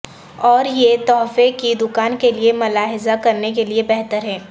اور یہ تحفے کی دکان کے لئے ملاحظہ کرنے کے لئے بہتر ہے